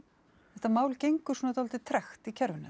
þetta mál gengur svona dálítið tregt í kerfinu